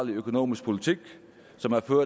går